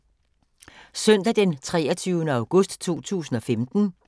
Søndag d. 23. august 2015